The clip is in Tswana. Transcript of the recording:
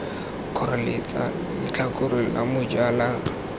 kgoreletsa letlhakore la moja la